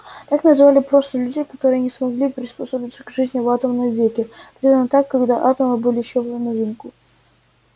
так называли просто людей которые не смогли приспособиться к жизни в атомном веке примерно так когда атомы были ещё в новинку